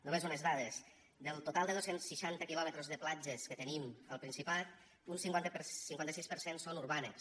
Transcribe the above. només unes dades del total de dos cents i seixanta quilòmetres de platges que tenim al principat un cinquanta sis per cent són urbanes